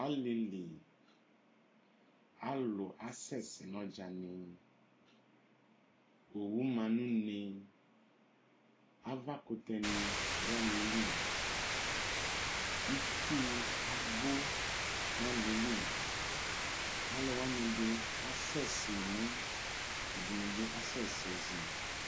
alilii alʋ asɛsɛɛ nʋ ɔdzani owʋ ɔma nʋ ʋnee avakʋtɛni dʋ aliɛli itsʋʋ abʋ nʋ aliyɛli alʋwani ɛdi asɛsɛɛ imʋʋ ɛdini asɛsɛɛ izi